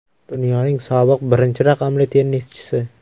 Dunyoning sobiq birinchi raqamli tennischisi.